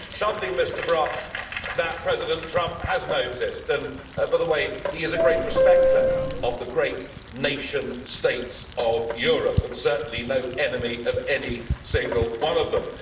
Something, Mr Brok, that President Trump has noticed and, by the way, he is a great respecter of the great nation states of Europe, and certainly no enemy of any single one of them.